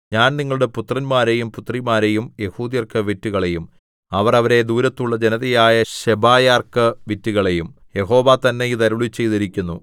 ഞാൻ നിങ്ങളുടെ പുത്രന്മാരെയും പുത്രിമാരെയും യെഹൂദ്യർക്കു വിറ്റുകളയും അവർ അവരെ ദൂരത്തുള്ള ജനതയായ ശെബായർക്ക് വിറ്റുകളയും യഹോവ തന്നെ ഇത് അരുളിച്ചെയ്തിരിക്കുന്നു